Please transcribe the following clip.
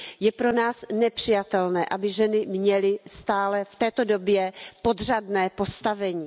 Je pro nás nepřijatelné, aby ženy měly stále v této době podřadné postavení.